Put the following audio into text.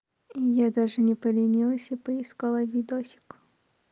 я даже не поленилась и поискала видосик